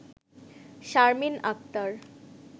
Sharmin Akter